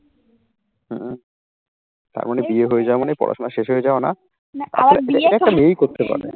হুম তার মানে বিয়ে হয়ে যাওয়া মানেই পড়াশোনা শেষ হয়ে যাও না।